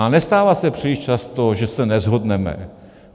A nestává se příliš často, že se neshodneme.